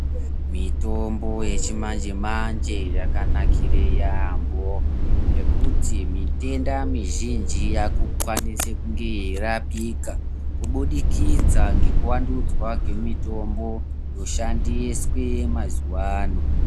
Mitombo yechimanje manje yakanakira yambo ngekuti mitenda mizhinji yakona Ikwanisee kunge yeirapika kubudikidza ngekuwandudzwa mitombo yaishandiswa mazuva ano.